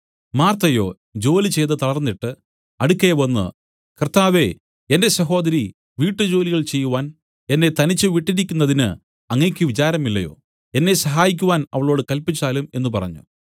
മാർത്തയോ ജോലി ചെയ്തു തളർന്നിട്ട് അടുക്കെ വന്നു കർത്താവേ എന്റെ സഹോദരി വീട്ടുജോലികൾ ചെയ്യുവാൻ എന്നെ തനിച്ചു വിട്ടിരിക്കുന്നതിന് അങ്ങയ്ക്ക് വിചാരമില്ലയോ എന്നെ സഹായിക്കുവാൻ അവളോട് കല്പിച്ചാലും എന്നു പറഞ്ഞു